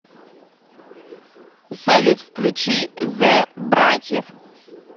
салют включи зе братьев